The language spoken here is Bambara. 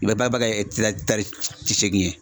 I bɛ bɛ b'a kɛ seegin ye.